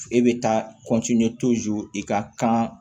E bɛ taa i ka kan